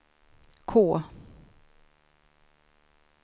K